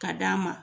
Ka d'a ma